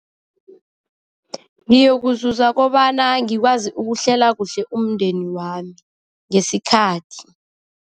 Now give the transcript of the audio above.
Ngiyokuzuza kobana ngikwazi ukuhlela kuhle umndeni wami, ngesikhathi.